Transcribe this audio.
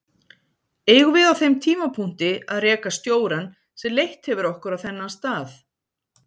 Eigum við á þeim tímapunkti að reka stjórann sem leitt hefur okkur á þennan stað?